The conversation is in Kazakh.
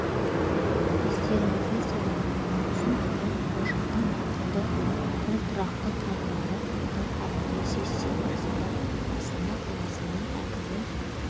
естеріңізге салайық маусым күні болашақтың ақылды әрі тұрақты қалалары атты арнайы сессия барысында астана қаласының әкімі